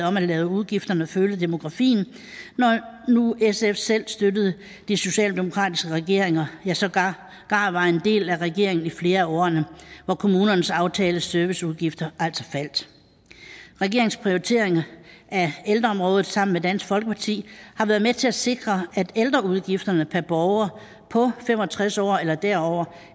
om at lade udgifterne følge demografien når nu sf selv støttede de socialdemokratisk ledede regeringer ja sågar var en del af regeringen i flere af årene hvor kommunernes aftalte serviceudgifter altså faldt regeringens prioriteringer af ældreområdet sammen med dansk folkeparti har været med til at sikre at ældreudgifterne per borger på fem og tres år eller derover